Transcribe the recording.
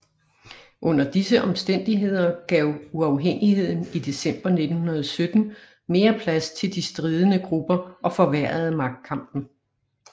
Under disse omstændigheder gav uafhængigheden i december 1917 mere plads til de stridende grupper og forværrede magtkampen